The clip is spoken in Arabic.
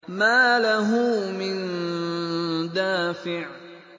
مَّا لَهُ مِن دَافِعٍ